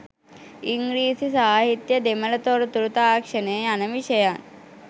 ඉංග්‍රීසි සාහිත්‍යය දෙමළ තොරතුරු තාක්ෂණය යන විෂයන්